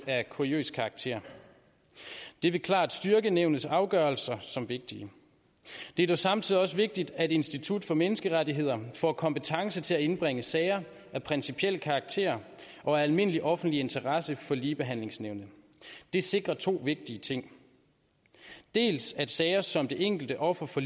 af kuriøs karakter det vil klart styrke nævnets afgørelser som vigtige det er samtidig også vigtigt at institut for menneskerettigheder får kompetence til at indbringe sager af principiel karakter og almindelig offentlig interesse for ligebehandlingsnævnet det sikrer to vigtige ting dels at sager som det enkelte offer for